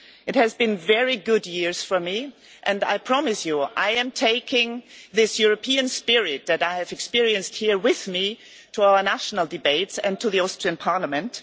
They have been very good years for me, and I promise you I am taking this European spirit that I have experienced here with me to our national debates and to the Austrian parliament.